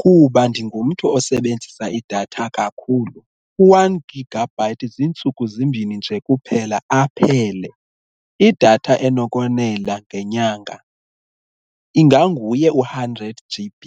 kuba ndingumntu osebenzisa idatha kakhulu u-one gigabyte ziintsuku zimbini nje kuphela aphele, idatha enokonela ngenyanga inganguye u-hundred G_B.